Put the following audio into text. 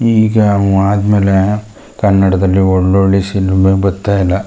ಈಗ ಅವ್ ಆದಮೇಲೆ ಕನ್ನಡದಲ್ಲು ಒಳ್ಳ ಒಳ್ಳೆ ಸಿನಿಮಾ ಬರ್ತಾ ಇಲ್ಲಾ .